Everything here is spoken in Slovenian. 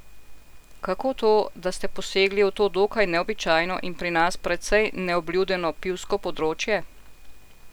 Kako to, da ste posegli v to dokaj neobičajno in pri nas precej neobljudeno pivsko področje?